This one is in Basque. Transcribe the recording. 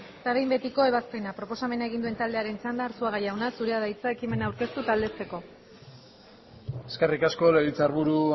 eta behin betiko ebazpena proposamen egin duen taldearen txanda arzuaga jauna zurea da hitza ekimena aurkeztu eta aldezteko eskerrik asko legebiltzarburu